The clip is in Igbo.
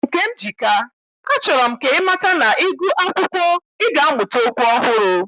Nkemjika, achoro m ka imata na, igu akwukwo, i ga amuta okwu ohuru.